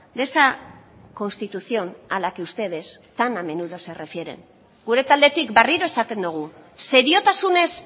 de esa constitución a la que ustedes tan a menudo se refieren gure taldetik berriro esaten dugu seriotasunez